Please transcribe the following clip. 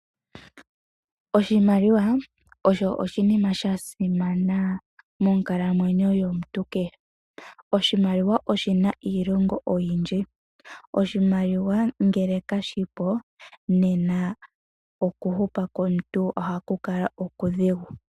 Oshimaliwa osho oshinima sha simana mokukalamwenyo komuntu kehe. Oshimaliwa oshina iilonga oyindji, oshimaliwa ngele kashipo nena okuhupa komuntu ohaku kala okudhigu.